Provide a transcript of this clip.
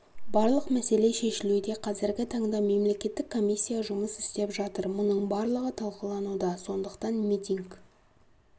барлық мәселе шешілуде қазіргі таңда мемлекеттік комиссия жұмыс істеп жатыр мұның барлығы талқылануда сондықтан митинг